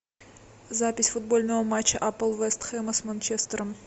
запись футбольного матча апл вест хэма с манчестером